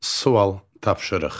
Sual, tapşırıq.